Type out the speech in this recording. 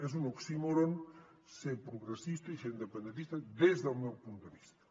és un oxímoron ser progressista i ser independentista des del meu punt de vista